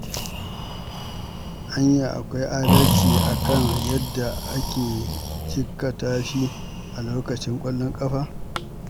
Anya akwai adalci a kan yadda aka jikkata shi a lokacin ƙwallon ƙafa?